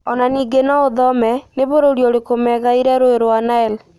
Ona ningĩ no ũthome: nĩ bũrũri ũrĩkũ megaĩire rũĩ rwa Nile?